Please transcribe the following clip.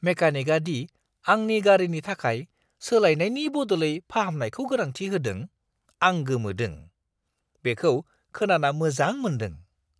मेकानिकआ दि आंनि गारिनि थाखाय सोलायनायनि बदलै फाहामनायखौ गोनांथि होदों, आं गोमोदों। बेखौ खोनाना मोजां मोनदों।